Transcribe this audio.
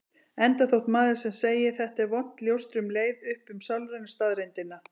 Enda þótt maður sem segi: Þetta er vont ljóstri um leið upp um sálrænu staðreyndina.